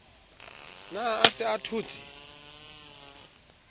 ne a se a thotse